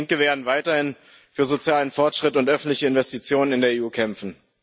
Wir als Linke werden weiterhin für sozialen Fortschritt und öffentliche Investitionen in der EU kämpfen.